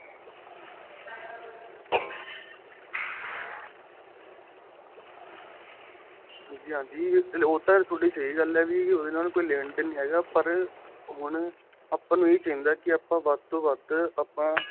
ਹਾਂਜੀ ਹਾਂਜੀ ਉਹ ਤਾਂ ਸਹੀਂ ਗੱਲ ਏ ਵੀ ਉਹਦੇ ਨਾਲ ਕੋਈ ਲੇਣ ਦੇਣ ਨਹੀਂ ਹੈਗਾ ਪਰ ਹੁਣ ਆਪਾਂ ਨੂੰ ਏਹ ਚਾਹੀਦਾ ਆਪਾਂ ਵੱਧ ਵੱਧ ਆਪਾਂ